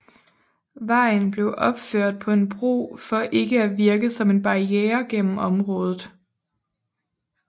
Vejen blev opført på en bro for ikke at virke som en barriere gennem området